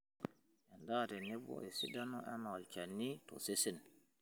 Endaa tenebo esidano anaa olchani tosesen